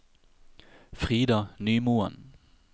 Frida Nymoen